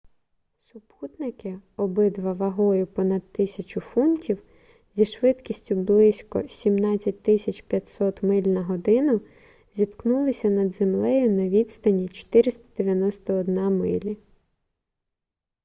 супутники обидва вагою понад 1000 фунтів зі швидкістю близько 17 500 миль на годину зіткнулися над землею на відстані 491 милі